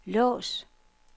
lås